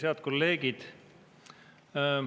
Head kolleegid!